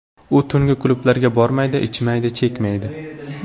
U tungi klublarga bormaydi, ichmaydi, chekmaydi.